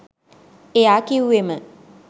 එයා කිව්වෙම